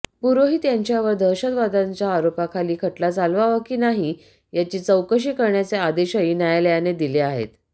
पुरोहित यांच्यावर दहशतवादाच्या आरोपाखाली खटला चालवावा की नाही याची चौकशी करण्याचे आदेशही न्यायालयाने दिले आहेत